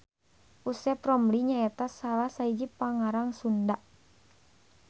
Usep Romli nyaeta salah sahiji pangarang Sunda.